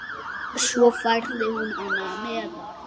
Svo færði hún hana neðar.